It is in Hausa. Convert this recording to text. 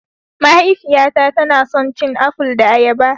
Mahaifiyata tana son cin aful da ayaba